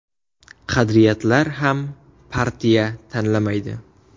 Qadriyatlar ham partiya tanlamaydi.